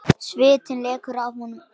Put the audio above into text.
Svitinn lekur af honum.